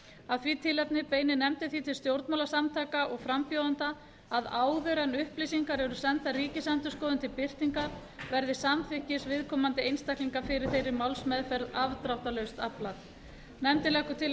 af því tilefni beinir nefndin því til stjórnmálasamtaka og frambjóðenda að áður en upplýsingar eru sendar ríkisendurskoðun til birtingar verði samþykkis viðkomandi einstaklinga fyrir þeirri málsmeðferð afdráttarlaust aflað nefndin leggur til að